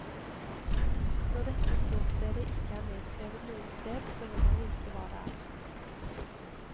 Når dette ståstedet ikke er nedskrevet noe sted, så vil jeg vite hva det er.